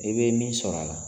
E be min sɔrɔ a la